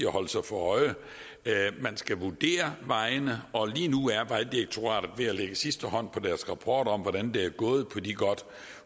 at holde sig for øje man skal vurdere vejene og lige nu er vejdirektoratet ved at lægge sidste hånd på deres rapport om hvordan det er gået på de godt